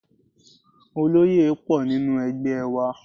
Oloye pọ̀ nínú ẹgbẹ́ wa.